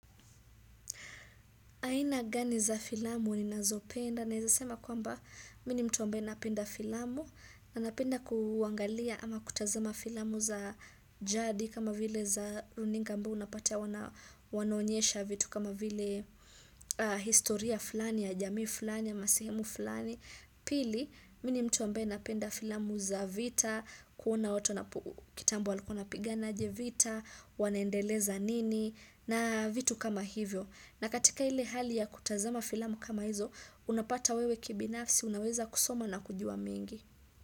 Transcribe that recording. Aina gani za filamu ninazo penda, naezasema kwamba mimi ni mtu ambaye napenda filamu, na napenda kuangalia ama kutazama filamu za jadi kama vile za runinga ambao unapata wanaonyesha vitu kama vile historia fulani ya jamii fulani ya masehemu fulani. Pili, mimi ni mtu ambaye napenda filamu za vita, kuona watu wanapo kitambo walikuwa wanapigana aje vita, wanaendeleza nini, na vitu kama hivyo. Na katika ile hali ya kutazama filamu kama hizo, unapata wewe kibinafsi, unaweza kusoma na kujua mengi.